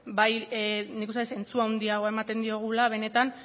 bai nik uste dut zentzu handi hau ematen diogula benetan